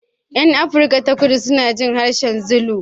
Yan Afirka ta Kudu suna jin harshen Zulu.